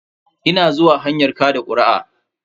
Ina hanyar zuwa kaɗa kuri'a.